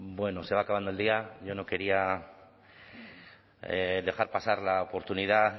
bueno se va acabando el día yo no quería dejar pasar la oportunidad